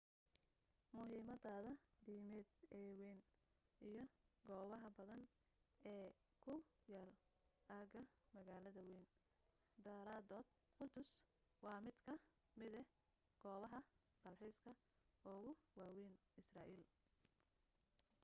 muhiimadeeda diimeed ee wayn iyo goobaha badan ee ku yaal aagga magaalada wayn daraadood quddus waa mid ka mida goobaha dalxiiska ugu waawayn israa'iil